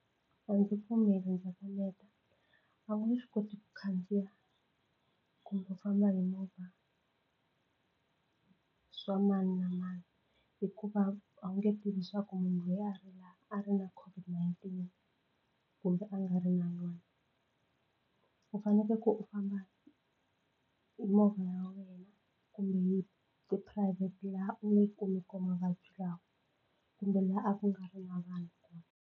A ndzi pfumeli ndza kaneta a wu nge swi koti ku khandziya kumbe u famba hi movha swa mani na mani hikuva a wu nge tivi leswaku munhu loyi a ri la a ri na COVID-19 kumbe a nga ri na yona u fanekele ku u famba hi movha ya wena kumbe hi tiphurayivhete laha u nga kumi kona mavabyi lawa kumbe laha a ku nga ri na vanhu kona.